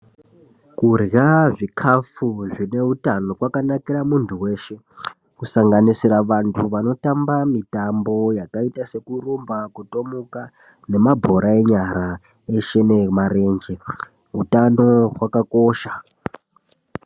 Kurya zvikafu zvine utano kwakanakira muntu veshe. Kusanganisira vantu vanotamba mitambo yakaita sekurumba, kutomuka nemabhora enyara eshe nemarenje utano hwakakosha.